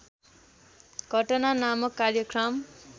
घटना नामक कार्यक्रम